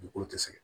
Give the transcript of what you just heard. Dugukolo tɛ sɛgɛn